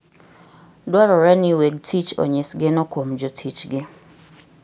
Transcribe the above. Dwarore ni weg tich onyis geno kuom jotichgi.